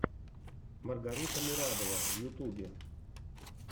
маргарита мурадова в ютубе